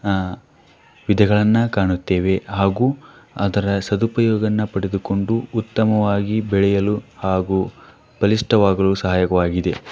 ಆ ವಿದೆಗಳನ್ನ ಕಾಣುತ್ತೆವೆ ಹಾಗು ಅದರ ಸದುಪಯೋಗವನ್ನ ಪಡೆದುಕೊಂಡು ಉತ್ತಮವಾಗಿ ಬೆಳೆಯಲು ಹಾಗು ಪಾಲಿಷ್ಠವಾಗಲು ಸಹಾಯವಾಗಿದೆ.